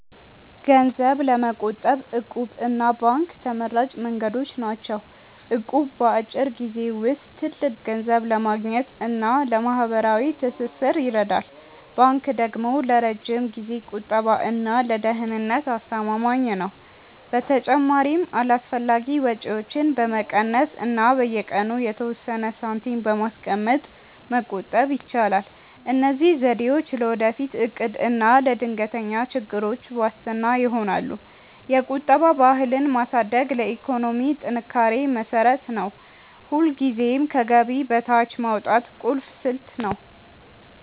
ገንዘብ ለመቆጠብ 'እቁብ' እና ባንክ ተመራጭ መንገዶች ናቸው። እቁብ በአጭር ጊዜ ውስጥ ትልቅ ገንዘብ ለማግኘት እና ለማህበራዊ ትስስር ይረዳል። ባንክ ደግሞ ለረጅም ጊዜ ቁጠባ እና ለደህንነት አስተማማኝ ነው። በተጨማሪም አላስፈላጊ ወጪዎችን በመቀነስ እና በየቀኑ የተወሰነ ሳንቲም በማስቀመጥ መቆጠብ ይቻላል። እነዚህ ዘዴዎች ለወደፊት እቅድ እና ለድንገተኛ ችግሮች ዋስትና ይሆናሉ። የቁጠባ ባህልን ማሳደግ ለኢኮኖሚ ጥንካሬ መሰረት ነው። ሁልጊዜም ከገቢ በታች ማውጣት ቁልፍ ስልት ነው።